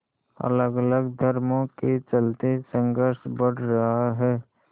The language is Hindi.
अलगअलग धर्मों के चलते संघर्ष बढ़ रहा है